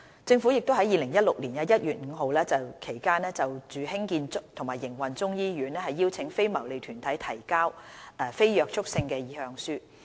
政府亦於2016年1月至5月期間就興建和營運中醫醫院邀請非牟利團體提交非約束性的意向書。